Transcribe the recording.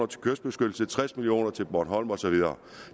til kystbeskyttelse tres million kroner til bornholm og så videre